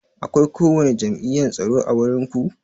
Akwai ko wani jam'iyyan tsaro ã wurin ku?